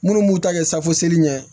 Minnu b'u ta kɛ safu seli ɲɛ ye